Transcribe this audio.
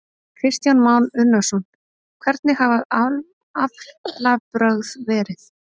Kristján Már Unnarsson: Hvernig hafa aflabrögð verið?